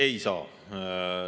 Ei saa.